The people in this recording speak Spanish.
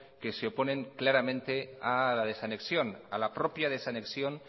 que se oponen claramente a la desanexión a la propia desanexión